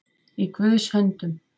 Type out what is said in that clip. Í Guðs höndum